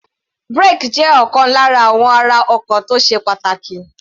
Brake ọkọ̀ jẹ́ ọ̀kan lára àwọn ara ọkọ̀ tó sé pàtàkì.